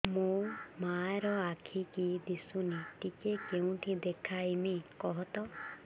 ମୋ ମା ର ଆଖି କି ଦିସୁନି ଟିକେ କେଉଁଠି ଦେଖେଇମି କଖତ